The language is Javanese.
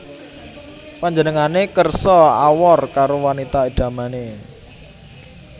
Panjenengane kersa awor karo wanita idamané